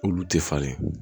Olu tɛ falen